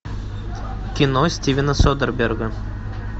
кино стивена содерберга